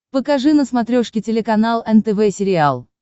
покажи на смотрешке телеканал нтв сериал